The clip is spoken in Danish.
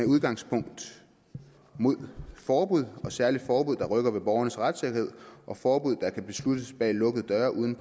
udgangspunkt imod forbud særligt forbud der rykker ved borgernes retssikkerhed og forbud der kan besluttes bag lukkede døre uden